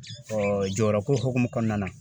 jɔyɔrɔko hokumu kɔnɔna na.